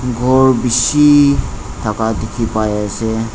ghor bishi thaka dekhi pai ase.